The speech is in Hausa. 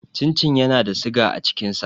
Cin cin yana da siga a cikin sa.